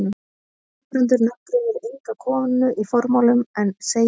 Guðbrandur nafngreinir enga konu í formálanum en segir þó: